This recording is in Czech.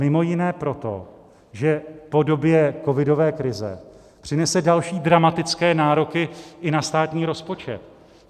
Mimo jiné proto, že v podobě covidové krize přinese další dramatické nároky i na státní rozpočet.